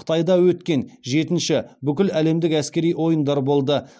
қытайда өткен жетінші бүкіләлемдік әскери ойындар болды